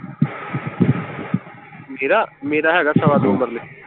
ਮੇਰਾ, ਮੇਰਾ ਹੈਗਾ ਸਵਾ ਦੋ ਮਰਲੇ।